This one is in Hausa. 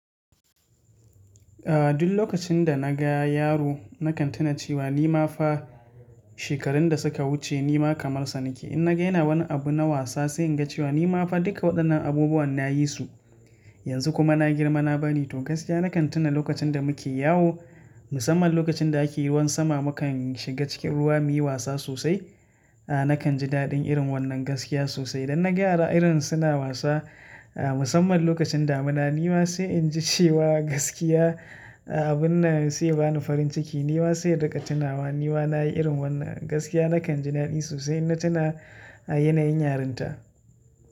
Duk lokacin da na ga yaro nakan tuna cewa nima fa shekarun da suka wuce nima kamar sa nake. In na ga yana wani abu na wasa sai in ga cewa nima fa duka waɗannan abubuwan na yi su. Yanzu kuma na girma na bani tokas gaskiya nakan tuna lokacin da muke yawo, musamman lokacin da ake ruwan sama mukan shiga cikin ruwa muyi wasa sosai. A nakan ji daɗin irin wannan gaskiya sosai. Dan na ga yara irin suna wasa, a musamman lokacin damina nima sai in ji cewa gaskiya a abun na sai bani farin ciki nima sai riga tuna wa nima nayi irin wannan gaskiya nakan ji daɗi sosai na tuna a yanayin yarinta.